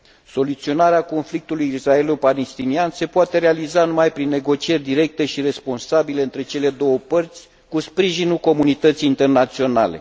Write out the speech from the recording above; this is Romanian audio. Soluționarea conflictului israelo palestinian se poate realiza numai prin negocieri directe și responsabile între cele două părți cu sprijinul comunității internaționale.